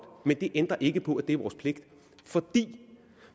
men det ændrer ikke på at det er vores pligt for